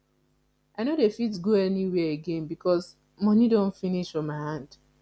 i no dey fit go anywhere again because moni don finish for my hand